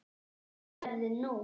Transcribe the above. Hvert ferðu nú?